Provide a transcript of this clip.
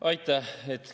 Aitäh!